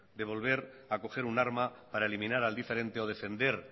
de volver a coger un arma para eliminar al diferente o defender